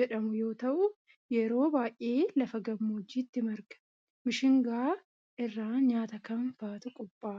jedhamu yoo ta'u, yeroo baay'ee lafa gammoojjitti marga. Mishingaa irraa nyaata kam faatu qopha'a?